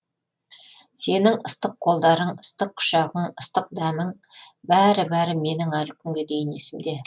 сенің ыстық қолдарың ыстық құшағың ыстық дәмің бәрі бәрі менің әлі күнге дейін есімде